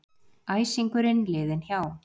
Æsingurinn liðinn hjá.